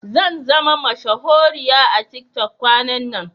Zanzama mashahuriya a tiktok kwanan nan.